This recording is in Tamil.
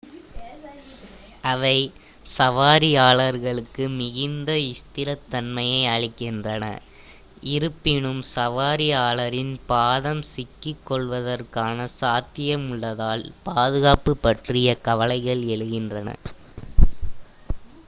அவை சவாரியாளர்களுக்கு மிகுந்த ஸ்திரத்தன்மையை அளிக்கின்றன இருப்பினும் சவாரியாளரின் பாதம் சிக்கிக்கொள்வதற்கான சாத்தியம் உள்ளதால் பாதுகாப்பு பற்றிய கவலைகள் எழுகின்றன